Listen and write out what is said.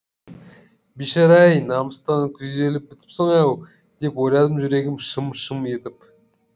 бейшара ай намыстан күйзеліп бітіпсің ау деп ойладым жүрегім шым шым етіп